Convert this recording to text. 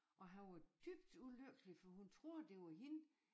Og han var dybt ulykkelig for hun troede det var hende